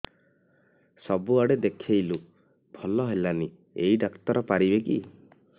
ସବୁଆଡେ ଦେଖେଇଲୁ ଭଲ ହେଲାନି ଏଇ ଡ଼ାକ୍ତର ପାରିବେ କି